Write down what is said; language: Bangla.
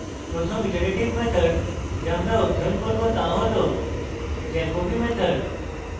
প্রথম iterative method the আমরা অধ্যয়ন করব the হল jacobi method